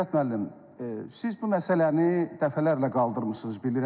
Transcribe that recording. Qüdrət müəllim, siz bu məsələni dəfələrlə qaldırmısınız, bilirəm.